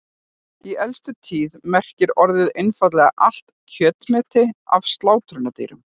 Í elstu tíð merkti orðið einfaldlega allt kjötmeti af sláturdýrum.